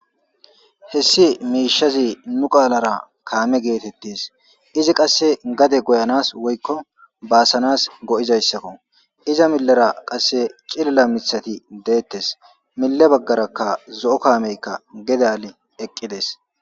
hessi miishazi nu qaalara kaame geetettis izi qasse gade goyanas woykko baasanas go7izayssakko iza millera qasse cilila mithati deettes mille baggarakka zo7o kaameykka gede ale eqqides